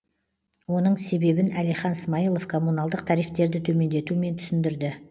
оның себебін әлихан смайлов комуналдық тарифтерді төмендетумен түсіндірді